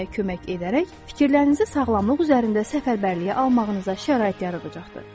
Götürməyə kömək edərək, fikirlərinizi sağlamlıq üzərində səfərbərliyə almağınıza şərait yaradacaqdır.